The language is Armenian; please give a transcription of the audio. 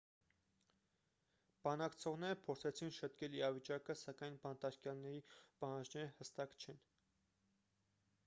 բանակցողները փորձեցին շտկել իրավիճակը սակայն բանտարկյալների պահանջները հստակ չեն